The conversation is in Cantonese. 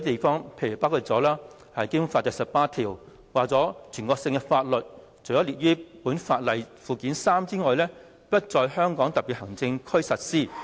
《基本法》第十八條訂明，"全國性法律除列於本法附件三者外，不在香港特別行政區實施。